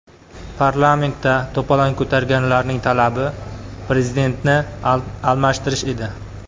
Parlamentda to‘polon ko‘targanlarning talabi Prezidentni almashtirish edi.